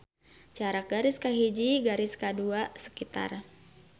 Jarak garis kahiji ka garis kadua sekitar.